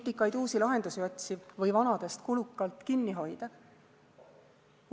Nutikaid uusi lahendusi otsiv või vanadest kulukalt kinni hoidev?